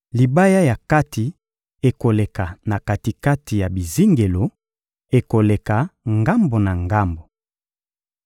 Libaya ya kati ekoleka na kati-kati ya bizingelo, ekoleka ngambo na ngambo.